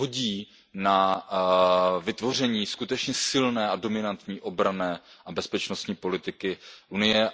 hodí na vytvoření skutečně silné a dominantní obranné a bezpečnostní politiky Unie.